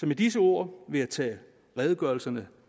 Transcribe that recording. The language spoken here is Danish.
med disse ord vil jeg tage redegørelsen